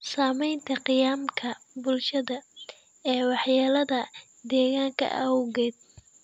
Saamaynta qiyamka bulsheed ee waxyeelada deegaanka awgeed.